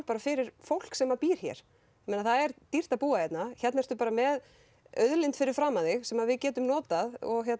fyrir fólk sem býr hér það er dýrt að búa hérna hérna ertu bara með auðlind fyrir framan þig sem við getum notað